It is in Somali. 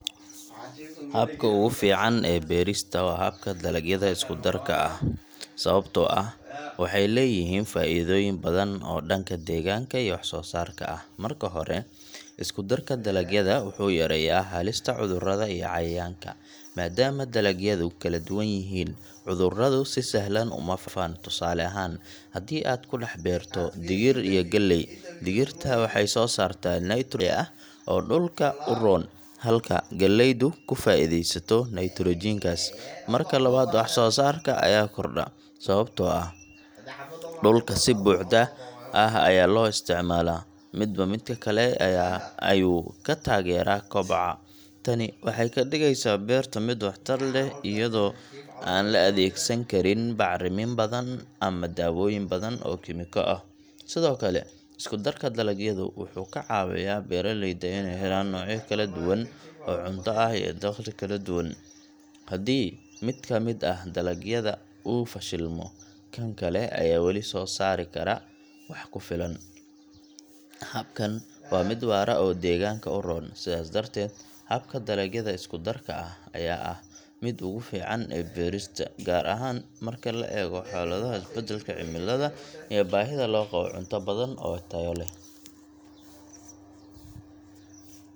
Habka ugu fiican ee beerista waa habka dalagyada isku-darka ah , sababtoo ah waxeey leeyihin faa’iidooyin badan oo dhanka deegaanka iyo wax-soosaarka ah. Marka hore, isku-darka dalagyada wuxuu yareeyaa halista cudurrada iyo cayayaanka, maadaama dalagyadu kala duwan yihiin, cudurradu si sahlan uma faafaan. Tusaale ahaan, haddii aad ku dhex beerto digir iyo galley, digirta waxay soo saartaa nitro ah oo dhulka u roon, halka galleydu ku faa’iideysato nitrogen kaas. Marka labaad, wax-soosaarka ayaa kordha, sababtoo ah dhulka si buuxda ayaa loo isticmaalaa, midba midka kale ayuu ka taageeraa koboca. Tani waxay ka dhigeysaa beerta mid waxtar leh iyadoo aan la adeegsan karin bacrimin badan ama daawooyin badan oo kiimiko ah. Sidoo kale, isku-darka dalagyadu wuxuu ka caawiyaa beeraleyda inay helaan noocyo kala duwan oo cunto ah iyo dakhli kala duwan. Haddii mid ka mid ah dalagyada uu fashilmo, kan kale ayaa wali soo saari kara wax ku filan. Habkan waa mid waara oo deegaanka u roon. Sidaas darteed, habka dalagyada isku-darka ah ayaa ah midka ugu fiican ee beerista, gaar ahaan marka la eego xaaladaha isbedelka cimilada iyo baahida loo qabo cunto badan oo tayo leh.